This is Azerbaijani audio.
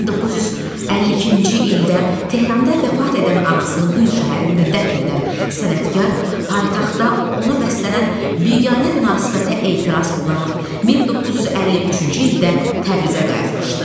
1952-ci ildə Tehranda vəfat edən anasını Qum şəhərində dəfn edən sənətkar paytaxtda ona bəslənən biganə münasibətə etiraz olaraq 1953-cü ildə Təbrizə qayıtmışdı.